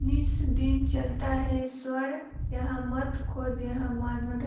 निस दिन चलता है सवड़ यहाँ मत खोज यहाँ मानव--